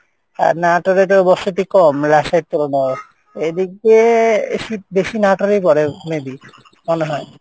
আর এ তো বসতি কম রাজশাহীর তুলনাই এইদিকে শীত বেশি এই পরে maybe মনে হয়।